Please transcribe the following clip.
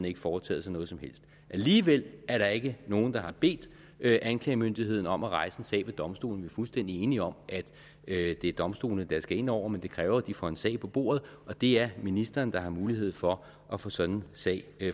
ikke foretaget sig noget som helst og alligevel er der ikke nogen der har bedt anklagemyndigheden om at rejse en sag ved domstolene vi er fuldstændig enige om at det er domstolene der skal ind over det men det kræver at de får en sag på bordet og det er ministeren der har mulighed for at få sådan en sag